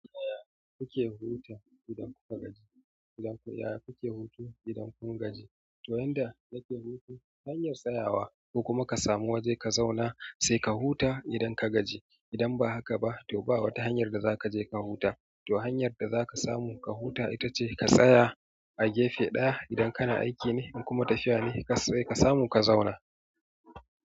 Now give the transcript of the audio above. Yaya kuke huta idan kuka gaji? Yaya kuke hutu idan kun gaji? To yanda nake hutu hanyar tsayawa ko kuma ka samu waje ka zauna sai ka huta idan ka gaji. Idan ba haka ba to ba wata hanyar da za ka je ka huta. To hanyar da za ka samu ka huta ita ce ka tsaya a gefe ɗaya idan kana aiki ne in kuma tafiya ne sai ka samu ka zauna.